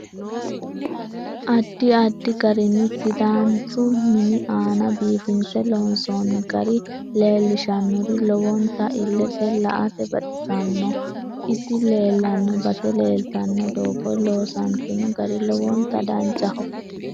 Addi addi garinni sidaaninchu mini aana biifinse loonsooni gari leelishanori lowonta illete laete baxisanno isi leelanno base leelitanno dooga loosantinno gari lowonta danchaho